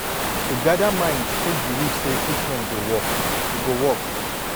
to gather mind take believe say treatment go work e go work